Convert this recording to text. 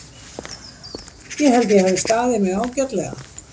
Ég held að ég hafi staðið mig ágætlega.